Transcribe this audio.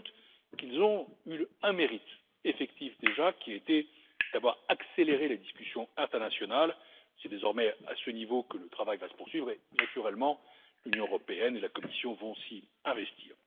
J'ajoute qu'ils ont eu un mérite, effectif déjà, qui était d'avoir accéléré les discussions internationales. C'est désormais à ce niveau que le travail va se poursuivre et, naturellement, l'Union européenne et la Commission vont s'y investir.